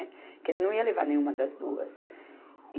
Que ele não ia levar nenhuma das duas.